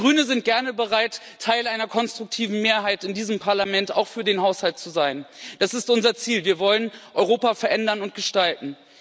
Wir Grüne sind gerne bereit, Teil einer konstruktiven Mehrheit in diesem Parlament auch für den Haushalt zu sein das ist unser Ziel Wir wollen Europa verändern und gestalten.